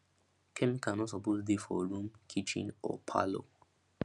chemical no suppose dey for room kitchen or parlor